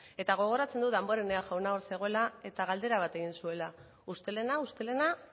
eta gogoratzen dut damborenea jauna hor zegoela eta galdera bat egin zuela ustelena ustelena